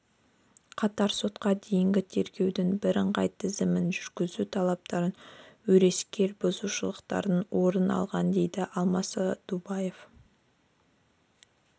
қатар сотқа дейінгі тергеудің бірыңғай тізілімін жүргізу талаптарын өрескел бұзушылықтар орын алған деді алмас садубаев